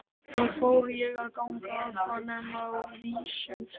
Svo fór ég að ganga að honum á vísum stað.